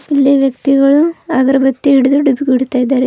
ಇಲ್ಲಿ ವ್ಯಕ್ತಿಗಳು ಅಗರಬತ್ತಿ ಹಿಡಿದು ಡುಬ್ಕಿ ಹೊಡಿತಾ ಇದ್ದಾರೆ.